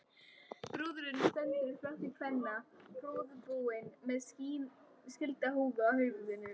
Brúðurin stendur í flokki kvenna, prúðbúin með skildahúfu á höfði.